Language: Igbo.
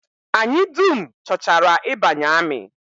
Anyị dum chọchara ịbanye amị